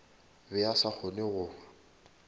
be a sa kgone go